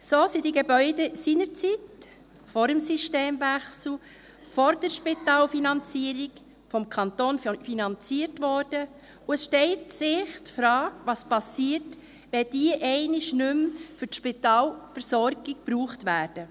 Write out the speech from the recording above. So wurden die Gebäude damals, vor dem Systemwechsel, vor der Spitalfinanzierung, vom Kanton finanziert, und es stellt sich die Frage, was passiert, wenn diese einmal nicht mehr für die Spitalversorgung gebraucht werden.